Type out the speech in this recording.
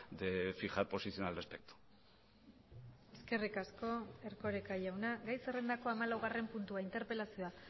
de fijar posición al respecto eskerrik asko erkoreka jauna gai zerrendako hamalaugarren puntua interpelazioa